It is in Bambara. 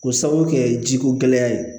K'o sababu kɛ ji ko gɛlɛya ye